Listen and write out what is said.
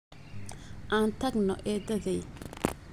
Aan tagno eeddaday